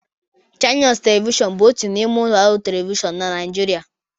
Channels Television bụ otu n'ime ụlọ ọrụ telivishọn na Nijiria